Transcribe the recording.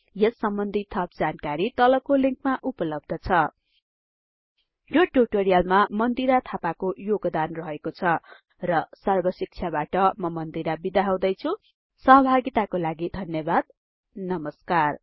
यस सम्बन्धि थप जानकारी तलको लिंकमा उपलब्ध छ यो ट्युटोरियलमा मन्दिरा थापाको योगदान रहेको छ र सर्बशिक्षाबाट म मन्दिरा बिदा हुदैछुँ सहभागिताको लागि धन्यबाद नमस्कार